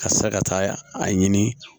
Ka se ka taa a ɲini